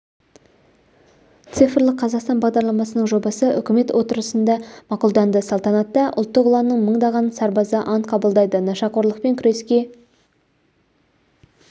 цифрлық қазақстан бағдарламасының жобасы үкімет отырысында мақұлданды салтанатта ұлттық ұланның мыңдаған сарбазы ант қабылдайды нашақорлықпен күреске